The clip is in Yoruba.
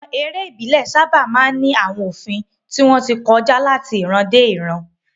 Àwọn eré ìbílẹ̀ sábà máa ń ní àwọn òfin tí wọ́n ti kọjá láti ìran dé ìran.